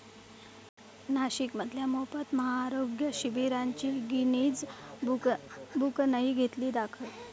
नाशिकमधल्या मोफत महाआरोग्य शिबिराची गिनीज बुकनंही घेतली दखल